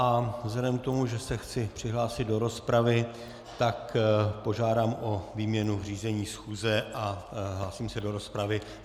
A vzhledem k tomu, že se chci přihlásit do rozpravy, tak požádám o výměnu řízení schůze a hlásím se do rozpravy.